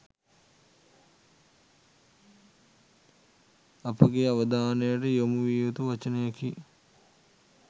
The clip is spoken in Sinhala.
අපගේ අවධානයට යොමු විය යුතු වචනයකි